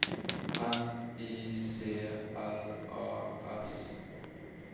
N I C L A S